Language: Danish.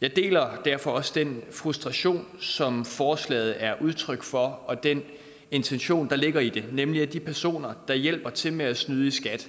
jeg deler derfor også den frustration som forslaget er udtryk for og den intention der ligger i det nemlig at de personer der hjælper til med at snyde i skat